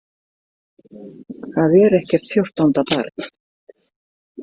Það er ekkert fjórtánda barn.